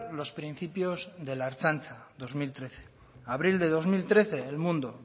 los principios de la ertzaintza abril del dos mil trece el mundo